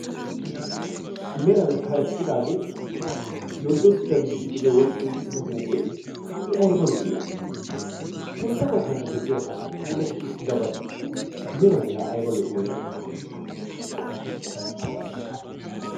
Meran karexxidaagee yorddodda gididi duge wodhi uttidaa huuphphee I ayba lo"i sintta baggaara de'iyaga puulati uttidabati meran la ayba lo'iyona